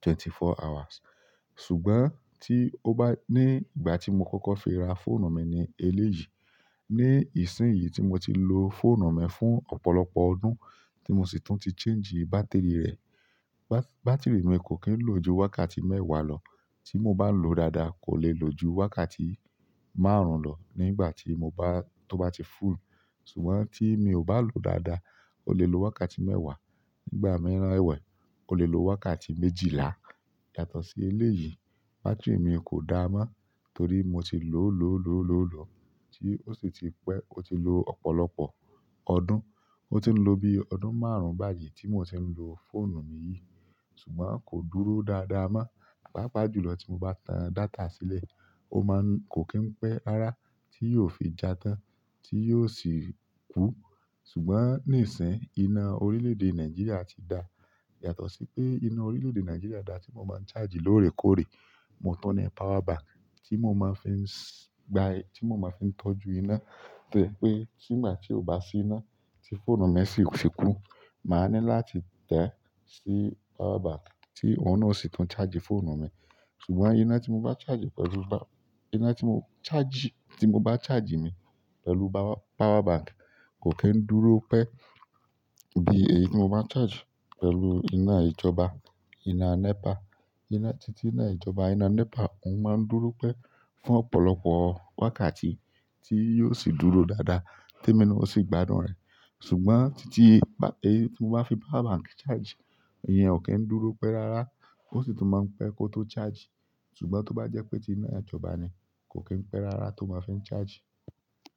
twenty four hours. Ṣùgbọ́n tí ó bá-- ní ìgbà tí mo kọ́kọ́ fi ra fóònù mi ni eléyìí, ní ìsín yìí tí mo ti lo fóònù mi fún ọ̀pọ̀lọpọ̀ ọdún tí mo sì tún ti change bátìrì rẹ̀, ba-bátìrì mi kò kí ń lo ju wákàtí mẹ́wàá lọ. Tí mo bá lòó dáadáa kò lè lo ju wákàtí márùn-ún lọ nígbà tí mo bá-- tó bá ti full. Ṣùgbọ́n tí mi ò bá lòó dáadáa, ó lè lo wákàtí mẹ́wàá, nígbà mìíràn ẹ̀wẹ̀, ó lè lo wákàtí méjìlá yàtọ̀ sí eléyìí. Bátìrì mi kò dáa mọ́ torí mo ti lò ó, lò ó, lò ó, lò ó, lò ó tí ó sì ti pẹ́, ó ti lo ọ̀pọ̀lọpọ̀ ọdún. Ó ti ń lo bí ọdún márùn-ún báyìí tí mo ti ń lo fóònù yìí. Ṣùgbọ́n kò dúró dáadáa mọ́. Pápá jùlọ tí mo bá tan data sílẹ̀, ó máa ń kò kí ń pẹ́ rárá tí yóò fi já tán tí yóò sì kú. Ṣùgbọ́n nísìn iná orílẹ̀ èdè Nàìjíríà ti dà. Yàtọ̀ sí pé iná orílẹ̀-èdè Nigeria da tí mo máa ń charge lóòrèkóòrè, mo tun ni power bank tí mo máa fi ń s-gba-- tí mo máa fi ń tọ́jú iná tẹ́jẹ̀ pé tígbà tí ó bá sí iná tí fóònù mi sì fi kú, màá ní láti tẹ́ sí power bank tí òun náà sì tún charge fóònù mi. Ṣùgbọ́n iná tí mo bá charge pẹ̀lú ba-- iná tí mo charge, tí mo bá charge ni pẹ̀lú ba-power bank kò kí ń dúró pẹ́ bí èyí tí mo bá charge pẹ̀lú iná ìjọba, iná NEPA. Iná-- títí iná ìjọba, iná NEPA, òun máa ń dúró pẹ́ fún ọ̀pọ̀lọpọ̀ wákàtí tí yóò sì dúró dáadáa tí èmi na o sì gbadún rẹ̀. Ṣùgbọ́n títí ba-- èyí tí mo bá fi power bank charge, ẹ̀yin ò kí ń dúró pẹ́ rárá ó sì tún máa ń pẹ́ kó tó charge. Ṣùgbọ́n tó bá jẹ́ pé tí iná ìjọba ni, kò kí ń pẹ́ rárá tó ma fi ń charge.